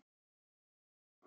Hansína